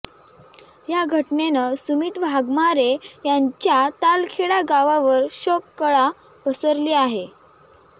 या घटनेनं सुमित वाघमारे याच्या तालखेडा गावावर शोककळा पसरली आहे